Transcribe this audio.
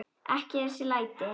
Ekki þessi læti.